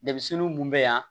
Denmisɛnnin mun bɛ yan